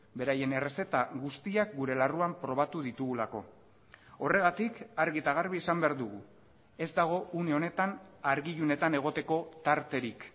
beraien errezeta guztiak gure larruan probatu ditugulako horregatik argi eta garbi esan behar dugu ez dago une honetan argi ilunetan egoteko tarterik